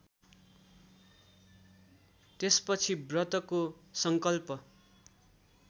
त्यसपछि व्रतको सङ्कल्प